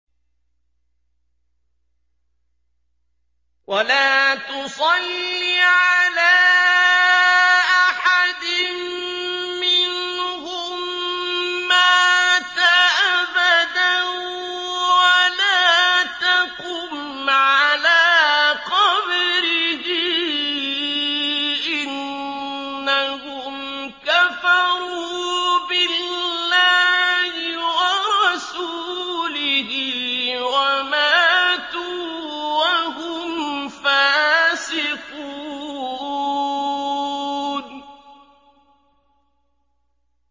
وَلَا تُصَلِّ عَلَىٰ أَحَدٍ مِّنْهُم مَّاتَ أَبَدًا وَلَا تَقُمْ عَلَىٰ قَبْرِهِ ۖ إِنَّهُمْ كَفَرُوا بِاللَّهِ وَرَسُولِهِ وَمَاتُوا وَهُمْ فَاسِقُونَ